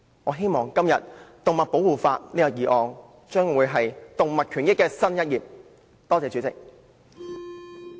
"我希望這項針對動物保護的議案，將會為動物權益揭開新一頁。